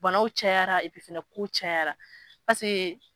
Banaw cayara epi fɛnɛ kow cayara paseke